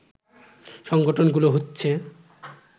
সংগঠনগুলো হচ্ছে